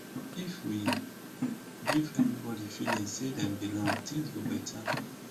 if we give everybody feeling say dem belong things go beta